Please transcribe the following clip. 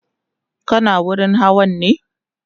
kana wurin Hawa ne?